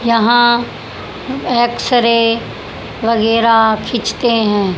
यहां X ray वगैरा खींचते हैं।